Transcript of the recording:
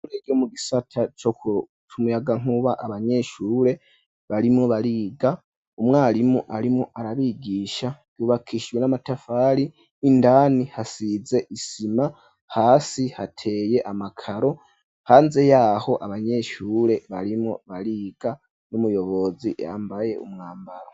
Ishuri ryo mu gisata c'umuyagankuba abanyeshure barimwo bariga umwarimu arimwo arabigisha ryubakishwe n'amatafari indani hasize isima hasi hateye amakaro hanze yaho abanyeshure barimwo bariga n'umuyobozi yambaye umwambaro.